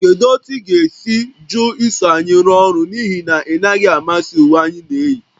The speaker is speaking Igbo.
Kedu otu ị ga - esi jụ iso anyị rụọ ọrụ n'ihi na ị naghị amasị uwe anyị na-eyi?